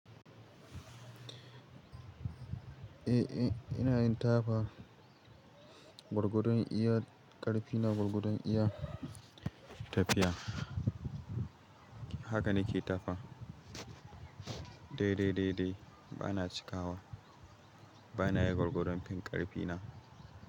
Eh, eh ina yin tafa. Gwargwadon iya ƙarfi na, gwargwadon iya tafiya. Haka nike tafa. Dai, dai, dai, dai bana cikawa. Banayi gwargwadon fin ƙarfi na.